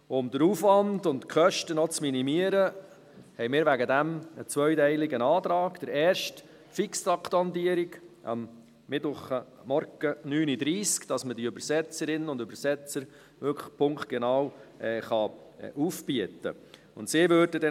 Um den Aufwand und die Kosten zu minimieren, stellen wir einen zweiteiligen Antrag: erstens Fixtranktandierung für Mittwochmorgen, 9.30 Uhr, damit wir die Übersetzerinnen und Übersetzer wirklich punktgenau aufbieten können.